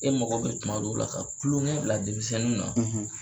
E mago bɛ tuma dɔw la ka kulonkɛ bila denmisɛnninw na,